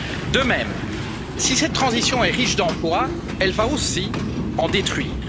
De même, si cette transition est riche d'emplois, elle va aussi en détruire.